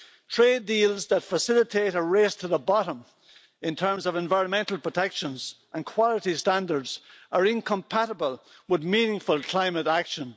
Trade deals that facilitate a race to the bottom, in terms of environmental protections and quality standards, are incompatible with meaningful climate action.